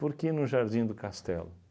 Por que no Jardim do Castelo?